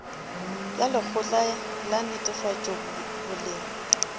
ya lekgotla la netefatšo boleng